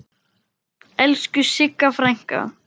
Elsku Sigga frænka.